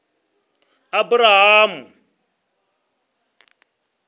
aburahamu